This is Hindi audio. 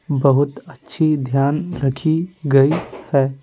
बहुत अच्छी ध्यान रखी गई है।